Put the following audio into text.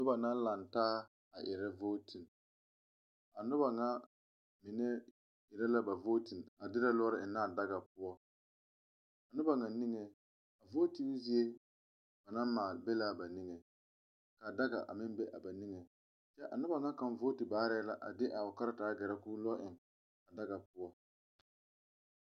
Noba la laŋe taa a erɛ vootin, a noba ŋa mine erɛ la ba vootin a derɛ lɔɔra eŋ ne a daga poɔ,a noba niŋe vootin zie ba naŋ maale be la ba niŋɛ ka a daga a meŋ be a ba niŋe, kyɛ a noba ŋa kaŋa vooti baare la a de a o karataa gerɛ ko lɔɔ eŋ a daga poɔ.